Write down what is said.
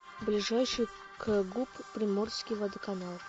ближайший кгуп приморский водоканал